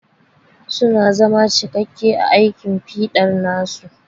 Su na zama cikakke a aikin fiɗa nasu.